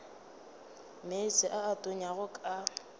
meetse a a tonyago ka